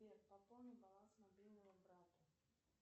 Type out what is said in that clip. сбер пополни баланс мобильного брату